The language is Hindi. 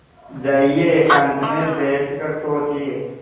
जाइए एकांत में बैठ कर सोचिए